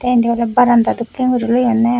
tey indi oley baranda dokkey guri loyonney.